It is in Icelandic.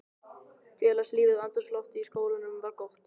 Félagslífið og andrúmsloftið í skólanum var gott.